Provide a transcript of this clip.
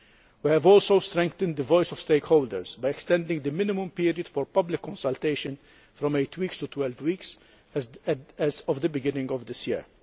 We have also strengthened the voice of stakeholders, by extending the minimum period for public consultation from 8 weeks to 12 weeks, as of the beginning of this year.